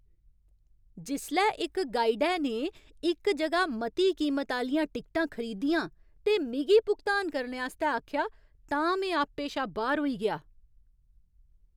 जिसलै इक गाइडै ने इक जगह मती कीमत आह्लियां टिकटां खरीदियां ते मिगी भुगतान करने आस्तै आखेआ तां में आपे शा बाह्‌र होई गेआ।